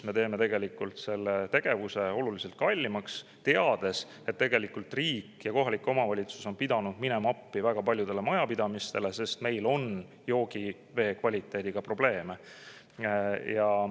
Me teeme selle tegevuse oluliselt kallimaks, teades, et riik ja kohalik omavalitsus on pidanud minema appi väga paljudele majapidamistele, sest meil on joogivee kvaliteediga probleeme.